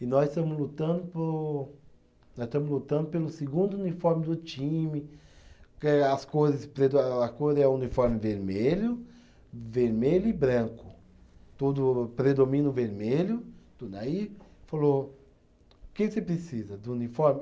e nós estamos lutando por, nós estamos lutando pelo segundo uniforme do time, que as cores, a cor é o uniforme vermelho, vermelho e branco, todo predomina o vermelho, tudo aí, falou, o que que você precisa do uniforme?